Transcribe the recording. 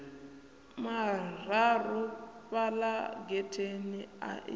mararu fhala getheni a i